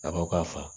A ko k'a fa